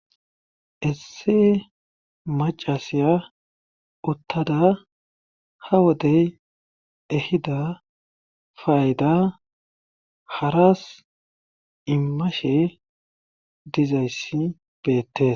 Esse macasiya uttada ha wodey ehida fayda haras immashe dizayssi beettes.